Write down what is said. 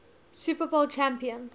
super bowl champion